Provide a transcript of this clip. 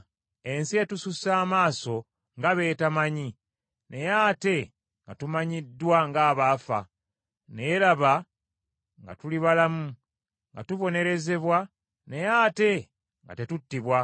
Ensi etusussa amaaso nga b’etemanyi, naye ate nga tumanyiddwa ng’abaafa, naye laba nga tuli balamu, nga tubonerezebwa naye ate nga tetuttibwa,